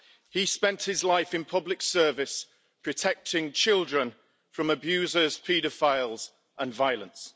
He spent his life in public service, protecting children from abusers, paedophiles and violence.